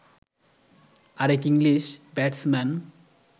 আরেক English batsman